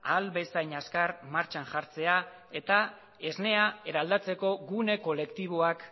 ahal bezain azkar martxan jartzea eta esnea eraldatzeko gune kolektiboak